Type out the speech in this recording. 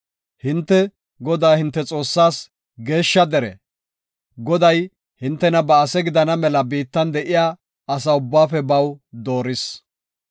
Hinte, Godaa hinte Xoossaas geeshsha dere; Goday hintena ba ase gidana mela biittan de7iya asa ubbaafe baw dooris.